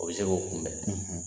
O bɛ se k'o kunbɛn